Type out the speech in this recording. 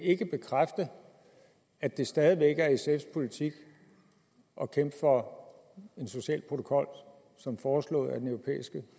bekræfte at det stadig væk er sfs politik at kæmpe for en social protokol som foreslået af den europæiske